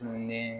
Tunnen